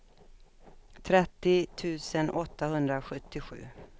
trettio tusen åttahundrasjuttiosju